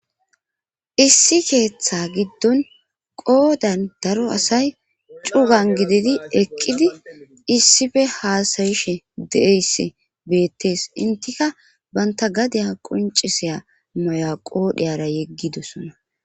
issi keeththa giddon qoodan daro asay cugan gididi eqqidi issife haasayishe deeyss beettees intika banta gadeya qoncisiya maya qoodhiyara yeggidosona